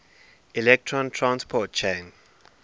electron transport chain